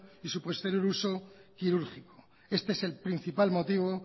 y su posterior uso quirúrgico este es el principal motivo